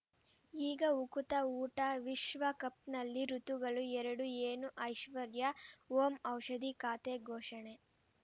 ಈಗ ಉಕುತ ಊಟ ವಿಶ್ವಕಪ್‌ನಲ್ಲಿ ಋತುಗಳು ಎರಡು ಏನು ಐಶ್ವರ್ಯಾ ಓಂ ಔಷಧಿ ಖಾತೆ ಘೋಷಣೆ